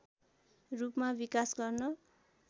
रूपमा विकास गर्न